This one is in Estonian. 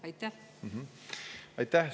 Aitäh!